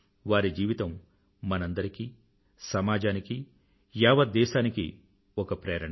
వారి జీవితం మనందరికీ సమాజానికీ యావత్ దేశానికీ ఒక ప్రేరణ